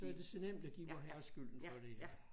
Så er det så nemt at give Vorherre skylden for det